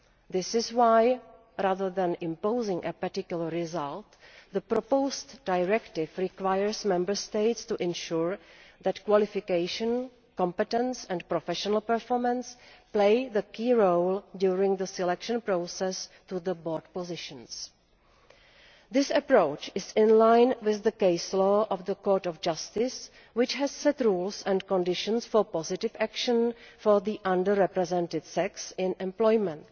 This is why, rather than imposing a particular result, the proposed directive requires Member States to ensure that qualification, competence and professional performance play the key role during the process of selection to board positions. This approach is in line with the case law of the Court of Justice, which has set rules and conditions for positive action for the under represented sex in employment.